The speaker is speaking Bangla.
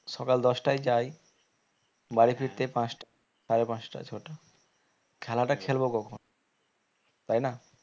সকাল দশটায় যাই বাড়ি ফিরতে পাঁচটা সারে পাঁচটা ছটা খেলাটা খেলবো কখন তাই না?